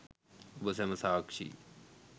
ඔබ සැම සාක්ෂියි